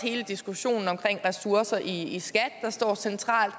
hele diskussionen om ressourcer i skat der står centralt